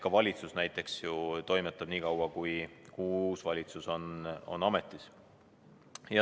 Ka valitsus näiteks toimetab nii kaua, kuni uus valitsus on ametis.